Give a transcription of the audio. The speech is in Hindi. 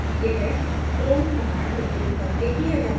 यह clone command उपयोग करके किया जाता है